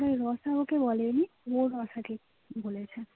রতন আমাকে বলেনি। ওর বলেছে